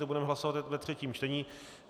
Ten budeme hlasovat ve třetím čtení.